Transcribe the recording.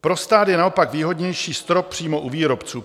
Pro stát je naopak výhodnější strop přímo u výrobců.